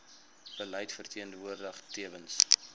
beleid verteenwoordig tewens